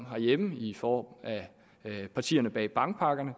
herhjemme i form af partierne bag bankpakkerne